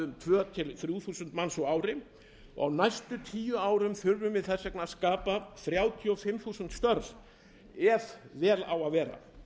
um tvö þúsund til þrjú þúsund manns á ári á næstu tíu árum þurfum við þess vegna að skapa þrjátíu og fimm þúsund störf ef vel á að vera